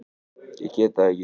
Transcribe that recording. Ég get það ekki